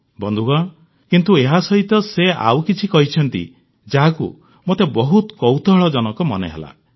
ବନ୍ଧୁଗଣ କିନ୍ତୁ ଏହାସହିତ ସେ ଆଉ କିଛି କହିଛନ୍ତି ଯାହାକୁ ମୋତେ ବହୁତ କୌତୂହଳଜନକ ମନେହେଲା